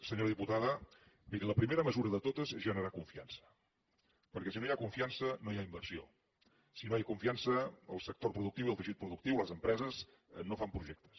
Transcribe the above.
senyora diputada miri la primera mesura de totes és generar confiança perquè si no hi ha confiança no hi ha inversió si no hi ha confiança el sector productiu i el teixit productiu les empreses no fan projectes